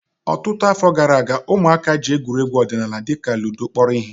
Ọtụtụ afọ gara aga, ụmụaka ji egwuregwu ọdịnala dịka ludo kpọrọ ihe